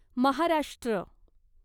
Maharashtra